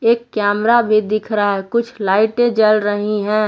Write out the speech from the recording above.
एक कैमरा भी दिख रहा है कुछ लाइटे जल रही हैं।